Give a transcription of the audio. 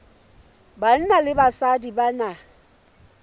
banna le basadi ba na